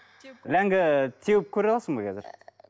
ләңгі теуіп көре аласың ба қазір